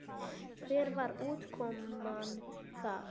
Hver var útkoman þar?